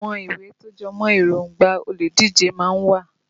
Àwọn ìwé tó jẹmọ́ èróngbà olùdíje má ń wà